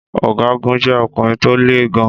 Ọgágun jẹ́ ọkùnrin tó le gan-an.